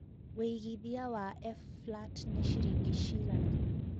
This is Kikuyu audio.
wĩĩgĩthĩa wa f.flat ni cĩrĩngĩ cĩgana